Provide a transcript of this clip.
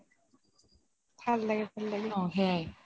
ভাল লাগে ভাল লাগে